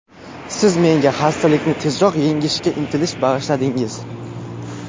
Siz menga xastalikni tezroq yengishga intilish bag‘ishladingiz!